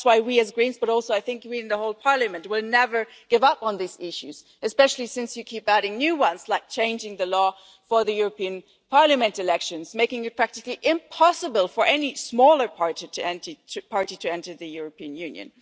that. That is why we, as Greens, and also we in the whole Parliament, will never give up on these issues especially since you keep adding new ones, like changing the law for the European Parliament elections, making it practically impossible for any smaller parties to enter the European Union.